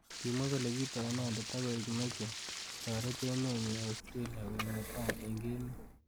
Kimwa kole kitoi inendet akoek meche kotoret emet nyi Australia koek netai eng emet.